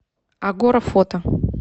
агора фото